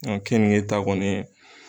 Mɛ kenige ta kɔni